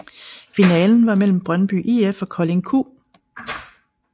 Finalen var mellem Brøndby IF og Kolding Q